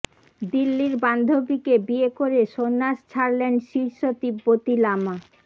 দিল্লির বান্ধবীকে বিয়ে করে সন্ন্যাস ছাড়লেন শীর্ষ তিব্বতি লামা